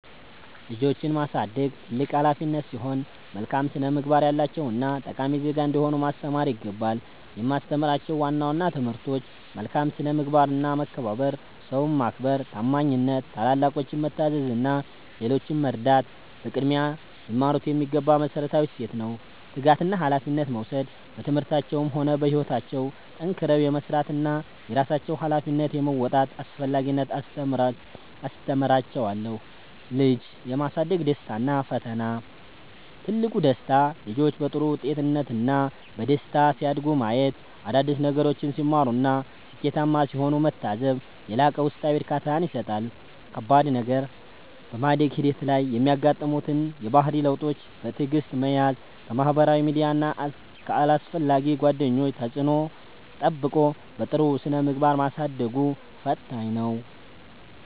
ልጆችን ማሳደግ ትልቅ ኃላፊነት ሲሆን፣ መልካም ስነ-ምግባር ያላቸውና ጠቃሚ ዜጋ እንዲሆኑ ማስተማር ይገባል። የማስተምራቸው ዋና ዋና ትምህርቶች፦ መልካም ስነ-ምግባርና መከባበር፦ ሰውን ማክበር፣ ታማኝነት፣ ታላላቆችን መታዘዝ እና ሌሎችን መርዳት በቅድሚያ ሊማሩት የሚገባ መሠረታዊ እሴት ነው። ትጋትና ኃላፊነት መውሰድ፦ በትምህርታቸውም ሆነ በሕይወታቸው ጠንክረው የመሥራትንና የራሳቸውን ኃላፊነት የመወጣትን አስፈላጊነት አስተምራቸዋለሁ። ልጅ የማሳደግ ደስታና ፈተና፦ ትልቁ ደስታ፦ ልጆች በጥሩ ጤንነትና በደስታ ሲያድጉ ማየት፣ አዳዲስ ነገሮችን ሲማሩና ስኬታማ ሲሆኑ መታዘብ የላቀ ውስጣዊ እርካታን ይሰጣል። ከባድ ነገር፦ በማደግ ሂደት ላይ የሚያጋጥሙትን የባህሪ ለውጦች በትዕግሥት መያዝ፣ ከማኅበራዊ ሚዲያና ከአላስፈላጊ ጓደኞች ተጽዕኖ ጠብቆ በጥሩ ስነ-ምግባር ማሳደጉ ፈታኝ ነው።